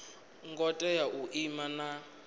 ngo tea u ima na